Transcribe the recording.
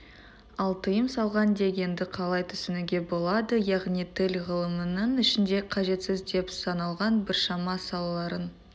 ал тыйым салған дегенді қалай түсінуге болады яғни тіл ғылымының ішінде қажетсіз деп саналған біршама салаларын